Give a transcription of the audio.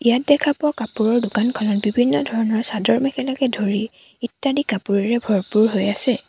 ইয়াত দেখা পোৱা কাপোৰৰ দোকানখনত বিভিন্ন ধৰণৰ চাদৰ-মেখেলাকে ধৰি ইত্যাদি কাপোৰৰেৰে ভৰপুৰ হৈ আছে।